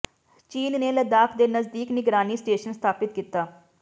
ਚੀਨ ਨੇ ਲਦਾਖ ਦੇ ਨਜ਼ਦੀਕ ਨਿਗਰਾਨੀ ਸਟੇਸ਼ਨ ਸਥਾਪਿਤ ਕੀਤਾ